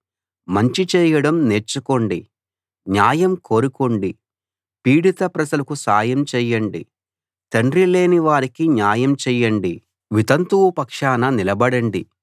మంచి చెయ్యడం నేర్చుకోండి న్యాయం కోరుకోండి పీడిత ప్రజలకు సాయం చెయ్యండి తండ్రిలేని వారికి న్యాయం చెయ్యండి వితంతువు పక్షాన నిలబడండి